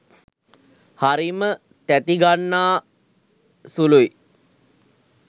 හරිම තැති ගන්නා සුළුයි.